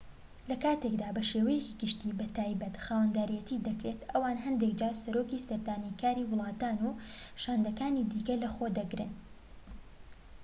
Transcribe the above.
لە کاتێکدا بە شێوەیەکی گشتی بە تایبەت خاوەنداریەتی دەکرێن ئەوان هەندێك جار سەرۆکی سەردانیکاری وڵاتان و شاندەکانی دیکە لەخۆ دەگرن